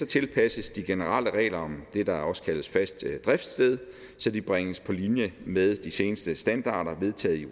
tilpasses de generelle regler om det der også kaldes fast driftsted så de bringes på linje med de seneste standarder vedtaget i